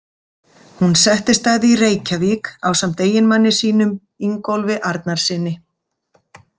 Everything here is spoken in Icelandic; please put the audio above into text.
Hún settist að í Reykjavík ásamt eiginmanni sínum, Ingólfi Arnarsyni.